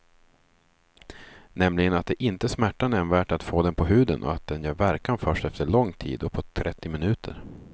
Nämligen att det inte smärtar nämnvärt att få den på huden och att den gör verkan först efter lång tid, uppåt trettio minuter.